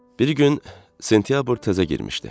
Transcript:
Bir gün sentyabr təzə girmişdi.